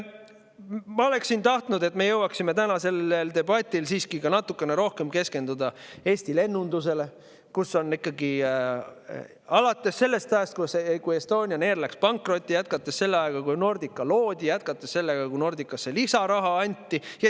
Ma oleksin tahtnud, et me oleks jõudnud tänases debatis siiski natukene rohkem keskenduda Eesti lennundusele, alates sellest ajast, kui Estonian Air läks pankrotti, jätkates selle ajaga, kui Nordica loodi, ja jätkates sellega, kui Nordicale lisaraha anti.